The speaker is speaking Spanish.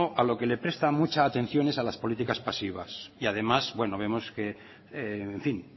a lo que le presta mucha atención es a las políticas pasivas y además vemos que en fin